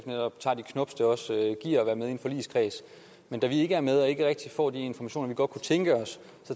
netop tager de knubs det giver at være med i en forligskreds men da vi ikke er med og ikke rigtig får de informationer vi godt kunne tænke os